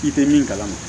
I tɛ min kalama